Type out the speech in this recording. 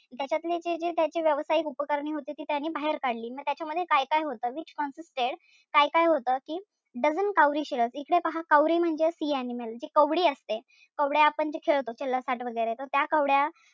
त्याच्यातील ते जे व्यावसायिक उपकरणे होती, ती त्याने बाहेर काढली. मग त्याच्यामध्ये काय काय होत? which consisted काय काय होत कि dozen इकडं पाहा, म्हणजे sea animal जी कवडी असते, कवड्या आपण जे खेळतो तर त्या कवड्या,